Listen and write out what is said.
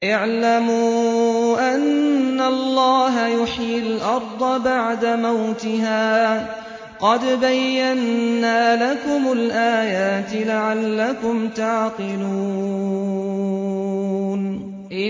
اعْلَمُوا أَنَّ اللَّهَ يُحْيِي الْأَرْضَ بَعْدَ مَوْتِهَا ۚ قَدْ بَيَّنَّا لَكُمُ الْآيَاتِ لَعَلَّكُمْ تَعْقِلُونَ